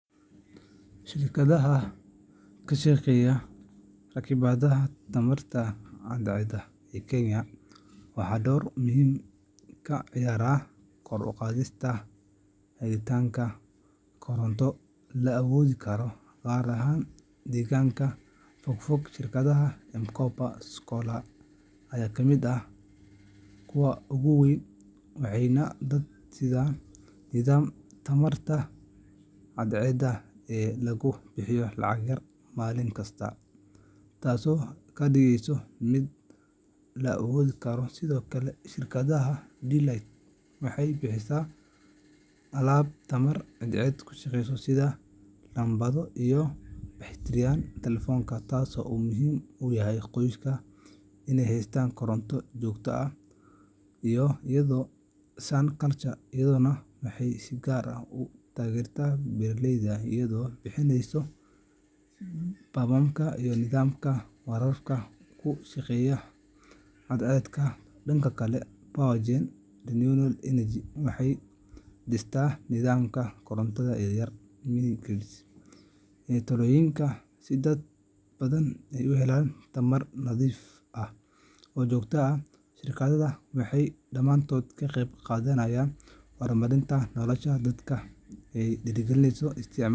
Shirkadaha kashaqeeya rakibadaha tamarta cad ceeda ee kenya waxaa door muhiim ka ciyaara kor u qaadista ,helitanka koronto la aboodi karo gaat ahan deegganka fog fog shirkadaha mkopa scholar kamid ah kuwa ogu weyn waxay dad nidam tamarta cadceeda lugu bixiyo lacag yar malinkas taaso kadhigeyso mid la aaboodi karo sidokale shirkadaha D-light waxay bixisaa alab tamar cadceeda kushaqeeyso sida dambado iyo beteri yal talefoonka taaso muhiim uyahay qoyska inay haystan koronta jogta ah iyo ayado sun culture maxay si gaar ah utageerta beetaleyda ayado bixineyso bamamka iyo nidamka kushaqeeya cadceeda dhanka kale power gen renewal energy waxay dhistaa nidamka korontada ee yar talooyinka si dad badan ay u helaan tamar nadhiif ah oo jogto ah shirkadada waxay dhamaantod kaqeb qadanayan horumarinta dadka ay dhiiri gelineyso isticmaalka.